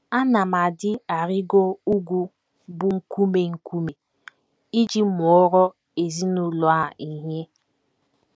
Ana m adị arịgo ugwu bụ́ nkume nkume iji mụọrọ ezinụlọ a ihe